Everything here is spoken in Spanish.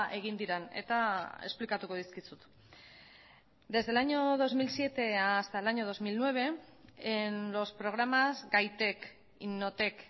egin diren eta esplikatuko dizkizut desde el año dos mil siete hasta el año dos mil nueve en los programas gaitek innotek